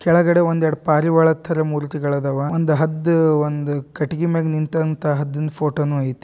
ಕೆಳಗಡೆ ಒಂದೆರಡ್ ಪಾರಿವಾಳ ತರ ಮೂರ್ತಿಗಳಾದವ ಒಂದ್ ಹದ್ದ್ ಒಂದ್ ಕಟಗಿ ಮ್ಯಾಗ್ ನಿಂತಂತಾ ಹದ್ನಾ ಫೋಟೋನೂ ಐ --